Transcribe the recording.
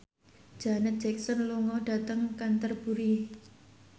Janet Jackson lunga dhateng Canterbury